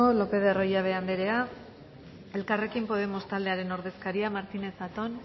lopez de arroyabe anderea elkarrekin podemos taldearen ordezkaria martínez zatón